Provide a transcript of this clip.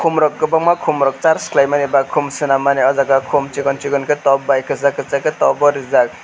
kom rok kobangma kom rok sarch kelaimani ba kom senam mani o jaga kom sikon sikon ke top bai kesak kesak top o rijak.